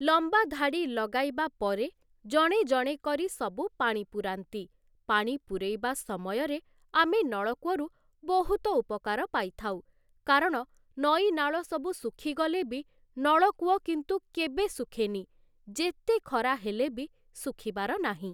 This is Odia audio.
ଲମ୍ବା ଧାଡ଼ି ଲଗାଇବା ପରେ ଜଣେ ଜଣେ କରି ସବୁ ପାଣି ପୂରାନ୍ତି ପାଣି ପୂରେଇବା ସମୟରେ ଆମେ ନଳକୂଅରୁ ବହୁତ ଉପକାର ପାଇଥାଉ, କାରଣ ନଈନାଳ ସବୁ ଶୁଖିଗଲେ ବି ନଳକୂଅ କିନ୍ତୁ କେବେ ଶୁଖେନି, ଯେତେ ଖରା ହେଲେବି ଶୁଖିବାର ନାହିଁ ।